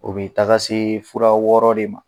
U bɛ taga se fura wɔɔrɔ de ma